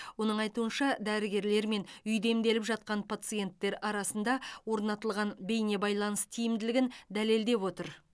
оның айтуынша дәрігерлер мен үйде емделіп жатқан пациенттер арасында орнатылған бейнебайланыс тиімділігін дәлелдеп отыр